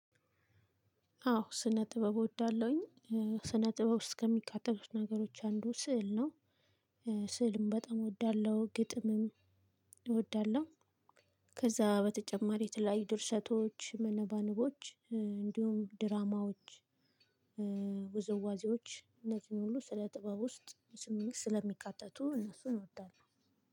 አዎ ስነ ጥበብ እወዳለሁኝ። ስነ ጥበብ ውስጥ ከሚካተቱት ነገሮች አንዱ ስዕል ነው። ስዕልም በጣም እወዳለሁ ግጥምም እወዳለሁ። ከዛ በተጨማሪ የተለያዩ ድርሰቶች መነባንቦች እንዲሁም ድራማዎች። ውዝዋዜዎች እነዚህን ሁሉ ስለ ጥበብ ውስጥ ስለሚካተቱ እነሱን እወዳለሁ።